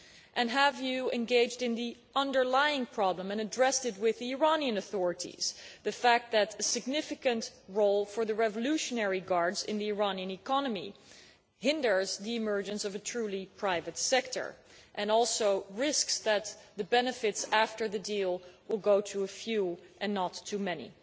And have you engaged in the underlying problem and addressed it with the Iranian authorities namely the fact that a significant role for the Revolutionary Guard in the Iranian economy hinders the emergence of a truly private sector, and also risks that the benefits after the deal will go to a few and not to the many.